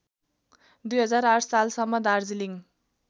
२००८ सालसम्म दार्जिलिङ